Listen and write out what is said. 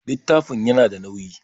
Littafin ya na da nauyi